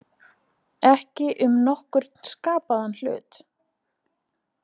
Ekki um nokkurn skapaðan hlut